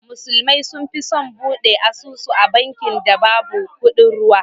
Musulmi sun fi son bude asusu a banki da babu kudin ruwa.